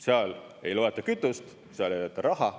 Seal ei loeta kütust, seal ei loeta raha.